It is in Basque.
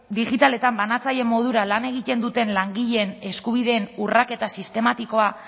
digitaletan banatzaile modura lan egiten duten langileen eskubideen urraketa sistematikoa